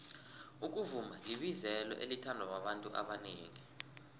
ukuvuma libizelo elithandwa babantu abanengi